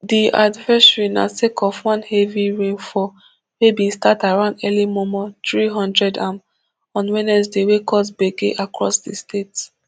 di advisory na sake of one heavy rainfall wey bin start around early mormor three hundredam on wednesday wey cause gbege across di state